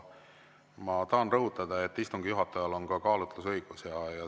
Ma tahan rõhutada, et istungi juhatajal on kaalutlusõigus.